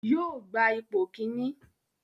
Yóò gba ipò kíní